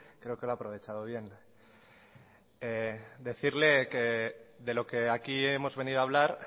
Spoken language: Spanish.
creo que lo ha aprovechado bien decirle que de lo que aquí hemos venido a hablar